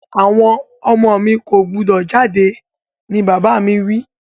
Àwon ọmọ mi ko gbúdọ̀ jáde ni bàbà mi wi